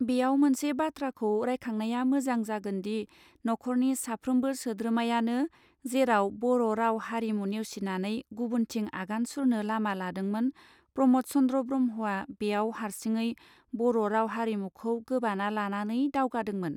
बेयाव मोनसे बाथ्राखौ रायकांगनया म्वजांग जागोनदि ना खरनि साफ्रोमबो सोद्रोमायानो जेराव बर राव हारिमु नेवसिनानै गुबुनथिं आगान सुरनो लामा लादोंमोन प्रम द चन्द्र ब्रहमआ बेयाव हरिसिंहगै बोरो राव हारिमुखौ गोबाना लानानै दावगादोंमोन.